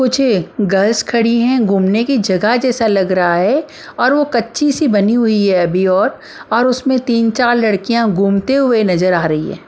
कुछ गर्ल्स खड़ी हैं घूमने की जगह जैसा लग रहा है और वो कच्ची सी बनी हुई है अभी और और उसमें तीन चार लड़कियाँ घूमते हुए नजर आ रही है।